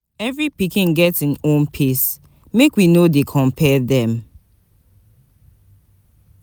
Every pikin get im own pace, make we no dey compare dem.